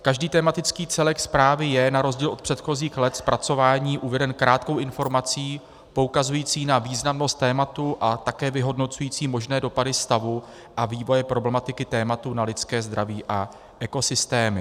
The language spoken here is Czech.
Každý tematický celek zprávy je na rozdíl od předchozích let zpracování uveden krátkou informací poukazující na významnost tématu a také vyhodnocující možné dopady stavu a vývoje problematiky tématu na lidské zdraví a ekosystémy.